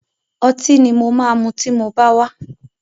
Ọtí ni mo máa mu tí mo bá wá.